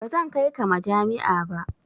Ba zan kai ka majami'a ba.